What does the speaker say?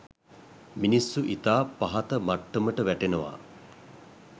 මිනිස්සු ඉතා පහත මට්ටමට වැටෙනවා